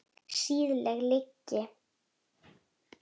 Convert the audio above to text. Siðleg lygi.